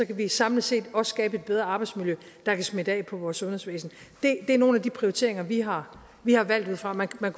kan vi samlet set også skabe et bedre arbejdsmiljø der kan smitte af på vores sundhedsvæsen det er nogle af de prioriteringer vi har har valgt ud fra og man kunne